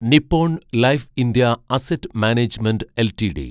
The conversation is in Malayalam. Nippon Life India asset management LTD